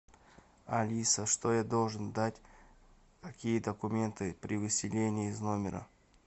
алиса что я должен дать какие документы при выселении из номера